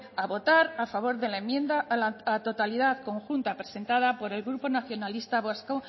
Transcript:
a votar a favor de la enmienda a la totalidad conjunta presentada por el grupo nacionalista vasco